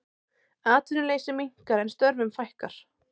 Atvinnuleysi minnkar en störfum fækkar